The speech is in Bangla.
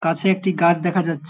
কাছে একটি গাছ দেখা যাছ--